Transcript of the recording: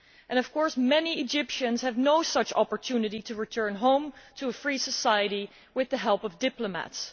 And, of course, many Egyptians have no such opportunity to return home to a free society with the help of diplomats.